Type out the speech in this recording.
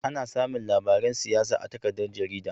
Ana samin labaran siyasa a takaddar jarida